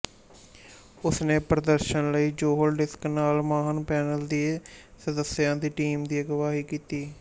ਉਸਨੇ ਪ੍ਰਦਰਸ਼ਨ ਲਈ ਜੌਹਨ ਡਿਕਸ ਨਾਲ ਮਾਹਰ ਪੈਨਲ ਦੇ ਸਦੱਸਿਆਂ ਦੀ ਟੀਮ ਦੀ ਅਗਵਾਈ ਕੀਤੀ